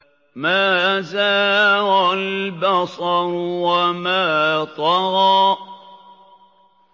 مَا زَاغَ الْبَصَرُ وَمَا طَغَىٰ